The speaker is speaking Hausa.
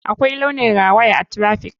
Akwai launin rawaya a traffic.